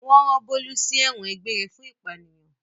Wọ́n rán Bólú sí ẹ̀wọ̀n egbére fún ìpànìyàn.